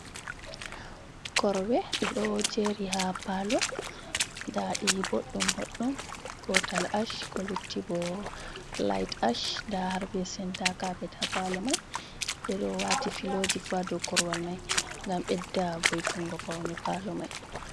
Korwe ɗe ɗo jeri ha palo ɗaɗi ɓoɗɗum boɗɗum gotal ash ko lutti bo light ash da harɓe senta kapet ha palo mai, ɓe ɗo wati filoji fu ɗou korwal mai gam ɓedda voitungo paune palo mai.